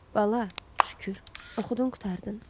Bala, şükür, oxudun, qurtardın.